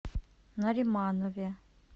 нариманове